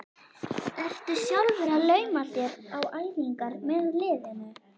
Ertu sjálfur að lauma þér á æfingar með liðinu?